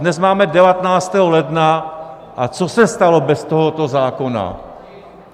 Dnes máme 19. ledna, a co se stalo bez tohoto zákona?